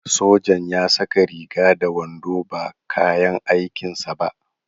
Sojan ya saka riga da wando ba kayan aikin sa ba.